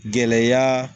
Gɛlɛya